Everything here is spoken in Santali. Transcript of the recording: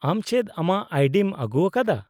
-ᱟᱢ ᱪᱮᱫ ᱟᱢᱟᱜ ᱟᱭᱰᱤᱢ ᱟᱹᱜᱩᱣᱟᱠᱟᱫᱟ ?